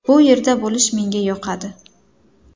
Bu yerda bo‘lish menga yoqadi.